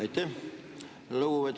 Aitäh!